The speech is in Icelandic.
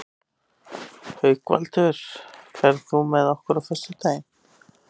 Haukvaldur, ferð þú með okkur á föstudaginn?